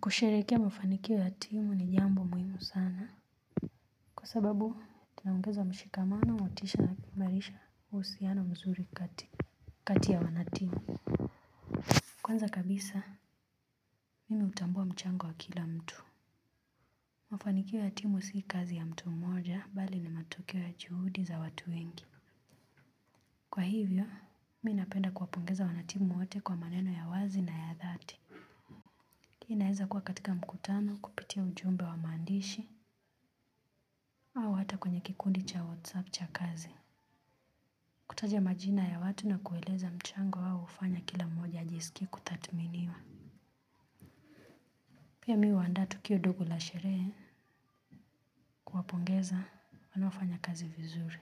Kusherekea mafanikio ya timu ni jambo muhimu sana kwa sababu tunaongeza mshikamano, motisha na kuimalisha uhusiano mzuri kati ya wanatimu kwanza kabisa mimi hutambua mchango wa kila mtu, mafanikio ya timu si kazi ya mtu moja bali ni matokeo ya juhudi za watu wengi kwa hivyo mimi napenda kuwapongeza wanatimu wote kwa maneno ya wazi na ya dhati hii inaeza kuwa katika mkutano kupitia ujumbe wa maandishi au hata kwenye kikundi cha whatsapp cha kazi. Kutaja majina ya watu na kueleza mchango wao hufanya kila mmoja ajisikie kutadhiminiwa. Pia mimi huanda tukio ndogo la sherehe kuwapongeza wanoafanya kazi vizuri.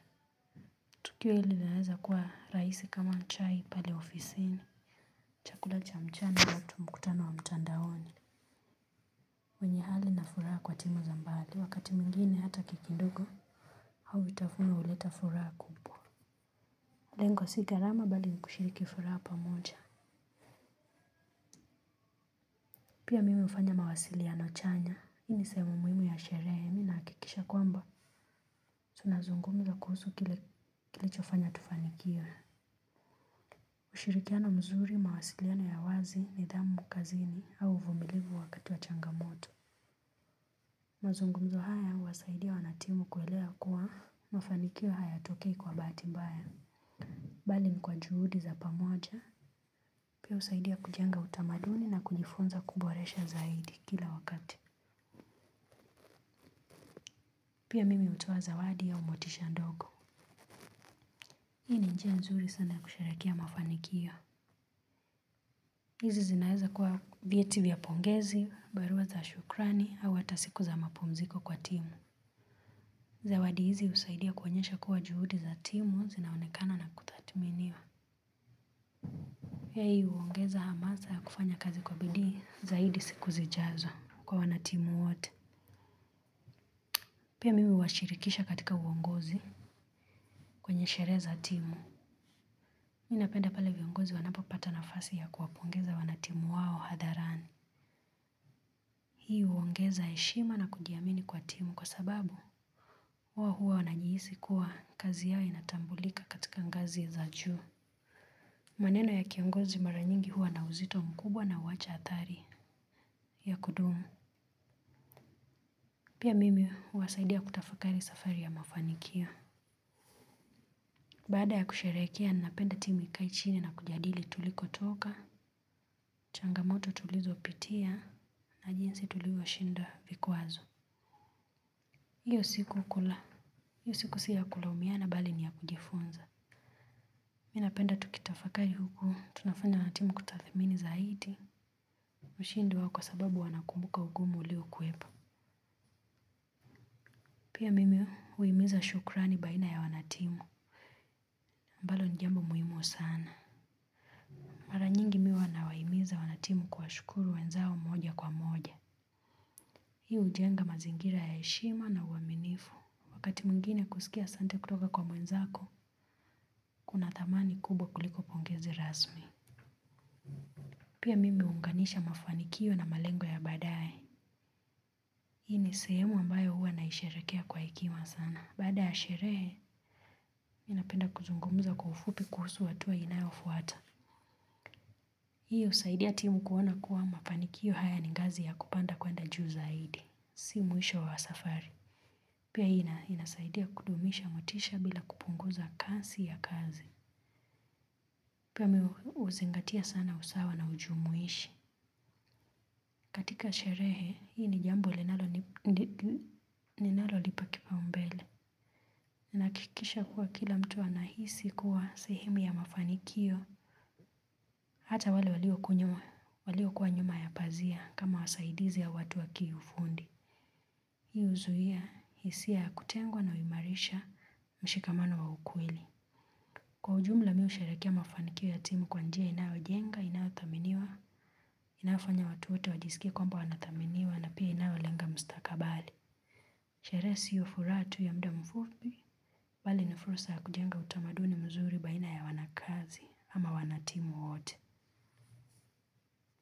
Tukio linaweza kuwa rahisi kama chai pale ofisini. Chakula cha mchana tu mkutano wa mtandaoni. Wenye hali na furaha kwa timu za mbali. Wakati mwingine hata keki ndogo au vitafuno huleta furaha kubwa. Lengo si gharama bali ni kushiriki furaha pamoja. Pia mimi hufanya mawasiliano chanya, hii ni sehemu muhimu ya sherehe mimi nahakikisha kwamba tunazungumza kuhusu kile kilicho fanya tufanikiwe. Ushirikiano mzuri, mawasiliano ya wazi, nidhamu kazini au uvumilivu wakati wa changamoto. Mazungumzo haya huwasaidia wanatimu kuelewa kuwa mafanikio hayatokei kwa bahati mbaya bali ni kwa juhudi za pamoja, pia husaidia kujenga utamaduni na kujifunza kuboresha zaidi kila wakati pia mimi hutoa zawadi au motisha ndogo hii ni njia nzuri sana ya kusherekea mafanikio. Hizi zinaeza kuwa vyeti vya pongezi, barua za shukrani, au hata siku za mapumziko kwa timu. Zawadi hizi husaidia kuonyesha kuwa juhudi za timu zinaonekana na kutadhiminiwa. Hii huongeza hamasa ya kufanya kazi kwa bidii zaidi siku zijazo kwa wanatimu wote. Pia mimi huwashirikisha katika uongozi kwenye sherehe za timu. Ninapenda pale viongozi wanapopata nafasi ya kuwapongeza wanatimu wao hadharani. Hii huongeza heshima na kujiamini kwa timu kwa sababu. Wao huwa wanajihisi kuwa kazi yao inatambulika katika ngazi za juu. Maneno ya kiongozi maranyingi hua na uzito mkubwa na huacha adhari ya kudumu. Pia mimi huwasaidia kutafakari safari ya mafanikio. Baada ya kusherekea ninapenda timu ikae chini na kujadili tulikotoka, changamoto tulizo pitia na jinsi tulivyo shinda vikwazo. Hiyo siku hukula, hiyo siku si ya kulaumiana bali ni ya kujifunza. Mimi napenda tukitafakari huku tunafanya wanatimu kutadhimini zaidi ushindi wao kwa sababu wanakumbuka ugumu uliokuepo. Pia mimi huhimiza shukrani baina ya wanatimu ambalo ni jambo muhimu sana. Maranyingi mimi huwa na wahimiza wanatimu kuwa shukuru wenzao moja kwa moja. Hiyo hujenga mazingira ya heshima na uaminifu. Wakati mwingine kusikia asante kutoka kwa mwenzako, kuna dhamani kubwa kuliko pongezi rasmi. Pia mimi huunganisha mafanikio na malengo ya baadae. Hii ni sehemu ambayo huwa naisherekea kwa hekima sana. Baada ya sherehe, mimi napenda kuzungumza kwa ufupi kuhusu hatuwa inayofuata. Hii husaidia timu kuona kuwa mafanikio haya ni gazi ya kupanda kwenda juu zaidi. Si mwisho wa safari. Pia inasaidia kudumisha motisha bila kupunguza kasi ya kazi. Pia mimi uzingatia sana usawa na ujumuishi. Katika sherehe, hii ni jambo linalo nipa kipa umbele. Nahakikisha kuwa kila mtu anahisi kuwa sehemu ya mafanikio. Hata wale walio kuwa nyuma ya pazia kama wasaidizi au watu wakiufundi. Hii uzuia, hisia ya kutengwa na uimarisha mshikamano wa ukweli. Kwa ujumla mimi usherekea mafanikio ya timu kwa njia inayojenga, inayo thaminiwa. Inayofanya watu wote wajiskie kwamba wanathaminiwa na pia inayolenga mstakabali. Sherehe siyo furaha tu ya mda mfupi, mbali ni fursa ya kujenga utamaduni mzuri baina ya wanakazi ama wanatimu wote.